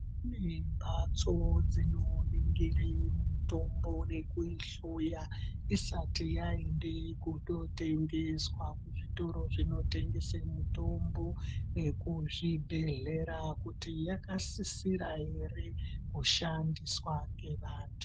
Mimbatso dzinoningira mitombo nekuihloya isati yaende kundotengeswa kuzvitoro zvinotengese mitombo nekuzvibhedhlera kuti yakasisira ere kushandiswa ngevantu.